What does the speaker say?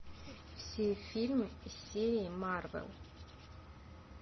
все фильмы из серии марвел